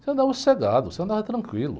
Você andava sossegado, você andava tranquilo.